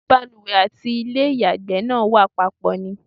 Ṣé balùwẹ̀ àti ilé ìyàgbẹ́ náà wà papọ̀ ni?